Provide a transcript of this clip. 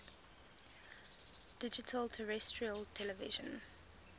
digital terrestrial television